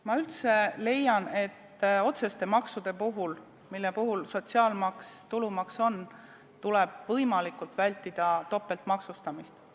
Ma üldse leian, et otseste maksude puhul, nagu sotsiaalmaks ja tulumaks on, tuleb võimalikult vältida topeltmaksustamist.